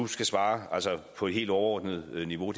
skal svare på et helt overordnet niveau